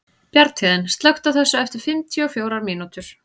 Bjarnhéðinn, slökktu á þessu eftir fimmtíu og fjórar mínútur.